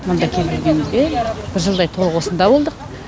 мұнда келіп жүргенімізге бір жылдай толық осында болдық